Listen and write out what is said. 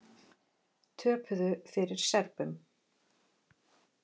Töpuðu fyrir Serbum